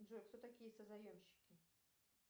джой кто такие созаемщики